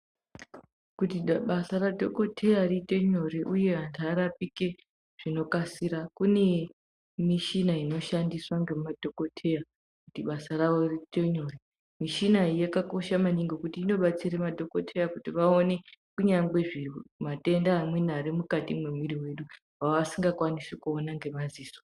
Kuti basa radhokoteya riite nyore uye antu arapike zvinokasira kune mishina inoshandiswa ngemadhokoteya kuti basa rawo riite nyore mishina iyi yakakosha maningi ngekuti inobatsira madhokoteya kuti vaone kunyangwe matenda arimukati mwemwiri mwedu asingakwanisi kuona ngemadziso.